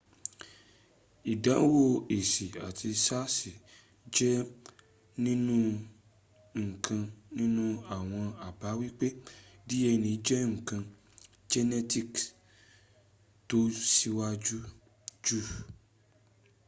idanwo esi ati saasi je ikan ninu awon aba wipe dna je nkan jenetiki to siwaju ju